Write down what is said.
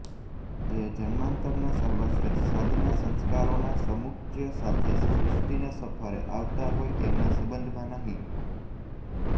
જે જન્માંતરના સર્વશ્રેષ્ઠ સાધના સંસ્કારોના સમુચ્ચય સાથે સૃષ્ટિની સફરે આવતા હોય એમના સંબંધમાં નહિ